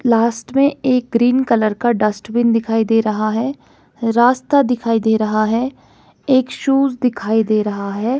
Last में एक green colour का डस्टबिन दिखाई दे रहा है रास्ता दिखाई दे रहा है एक शूज दिखाई दे रहा है।